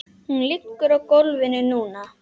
Hún liggur á gólfinu núna.